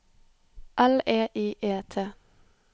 L E I E T